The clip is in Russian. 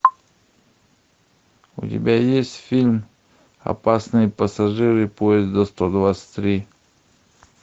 у тебя есть фильм опасные пассажиры поезда сто двадцать три